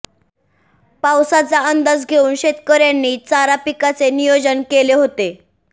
पावसाचा अंदाज घेऊन शेतकऱयांनी चारा पिकाचे नियोजन केले होते